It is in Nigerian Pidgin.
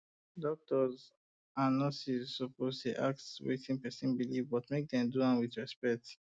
doctors and um nurses suppose ask about wetin person believe but make dem do am with respect